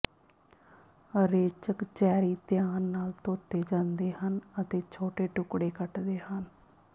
ਰੇਚਕ cherry ਧਿਆਨ ਨਾਲ ਧੋਤੇ ਜਾਂਦੇ ਹਨ ਅਤੇ ਛੋਟੇ ਟੁਕੜੇ ਕੱਟਦੇ ਹਨ